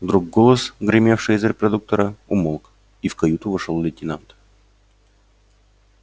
вдруг голос гремевший из репродуктора умолк и в каюту вошёл лейтенант